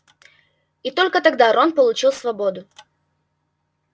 и только тогда рон получил свободу